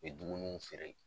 A be dumunuw feere